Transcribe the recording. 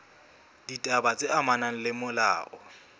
ditaba tse amanang le molao